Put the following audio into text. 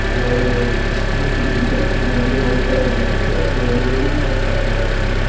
இது ஒரு school building இது வந்து ஒயிட் கலர்ல இருக்கு இது வந்து ரூப் டாப்போட இருக்கு.